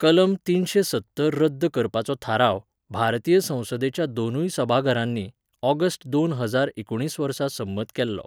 कलम तीनशें सत्तर रद्द करपाचो थाराव, भारतीय संसदेच्या दोनूय सभाघरांनी, ऑगस्ट दोन हजार एकुणीस वर्सा संमत केल्लो.